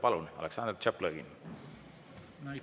Palun, Aleksandr Tšaplõgin!